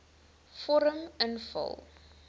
vorm invul